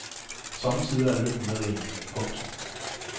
Sommetider er lykken med en. punktum